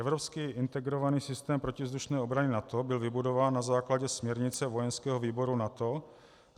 Evropský integrovaný systém protivzdušné obrany NATO byl vybudován na základě směrnice vojenského výboru NATO.